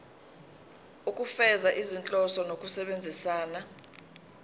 ukufeza izinhloso zokusebenzisa